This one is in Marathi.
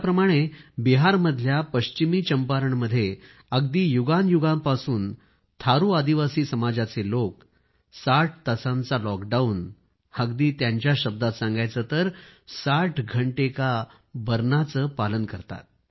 ज्याप्रमाणे बिहारमधल्या पश्चिमी चंपारणमध्ये अगदी युगांयुगांपासून थारू आदिवासी समाजाचे लोक 60 तासांचा लॉकडाउन अगदी त्यांच्याच शब्दात सांगायचं तर 60 घंटे का बरनाचे पालन करतात